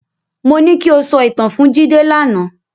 Mo ní ki o sọ ìtàn fún Jídé lánàá.